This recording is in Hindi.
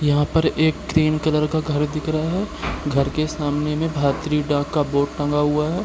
यहाँ पर एक क्रीम कलर का घर दिख रहा है घर के सामने में भारतीय डाक का बोर्ड टँगा हुआ है।